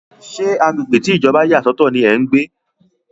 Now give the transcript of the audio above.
Ṣé agbègbè tí Ìjọba yà sọ̀tọ̀ ní ẹ́ ń gbé?